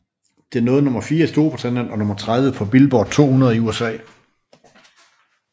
Det nåede nummer 4 i Storbritannien og nummer 30 på Billboard 200 i i USA